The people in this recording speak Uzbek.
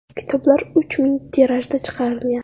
Kitoblar uch ming tirajda chiqarilgan.